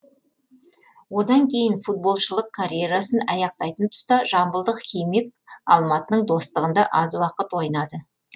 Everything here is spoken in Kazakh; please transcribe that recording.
одан кейін футболшылық карьерасын аяқтайтын тұста жамбылдық химик алматының достығында аз уақыт ойнады